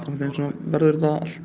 verður þetta allt